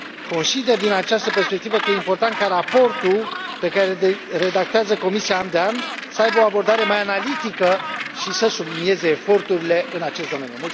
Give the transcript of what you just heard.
Consider din această perspectivă că e important ca raportul pe care îl redactează Comisia an de an să aibă o abordare mai analitică și să sublinieze eforturile în acest domeniu.